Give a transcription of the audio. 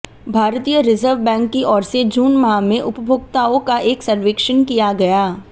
भारतीय reserve bank की ओर से जून माह में उपभोक्ताओं का एक सर्वेक्षण किया गया